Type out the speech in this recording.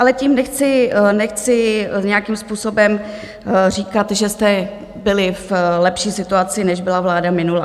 Ale tím nechci nějakým způsobem říkat, že jste byli v lepší situaci, než byla vláda minulá.